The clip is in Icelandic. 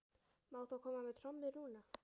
Má þá koma með trommur núna?